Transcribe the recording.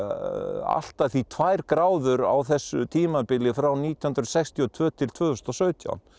allt að því tvær gráður á þessu tímabili frá nítján hundruð sextíu og tvö til tvö þúsund og sautján